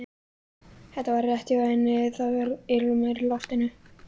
Þetta var rétt hjá henni, það var ilmur í loftinu.